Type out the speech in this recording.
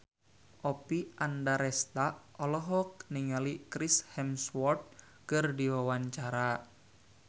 Oppie Andaresta olohok ningali Chris Hemsworth keur diwawancara